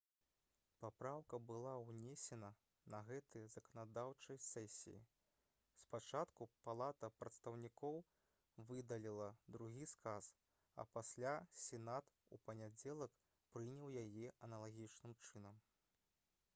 папраўка была ўнесена на гэтай заканадаўчай сесіі спачатку палата прадстаўнікоў выдаліла другі сказ а пасля сенат у панядзелак прыняў яе аналагічным чынам